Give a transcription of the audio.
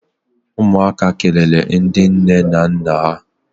Umuaka kelele ndi nne na nna ha.